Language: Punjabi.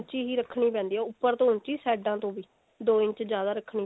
ਉੱਚੀ ਹੀ ਰੱਖਣੀ ਪੈਂਦੀ ਹੈ ਉੱਪਰ ਤੋਂ ਉੱਚੀ ਸਾਈਡਾ ਤੋਂ ਵੀ ਦੋ ਇੰਚ ਜਿਆਦਾ ਰੱਖਣੀ